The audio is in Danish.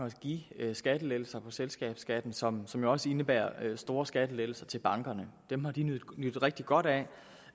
at give skattelettelser på selskabsskatten som som også indebærer store skattelettelser til bankerne dem har de nydt rigtig godt af